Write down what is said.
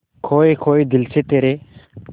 खोए खोए दिल से तेरे